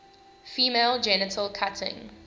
female genital cutting